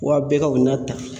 Wa bɛɛ ka o n'a ta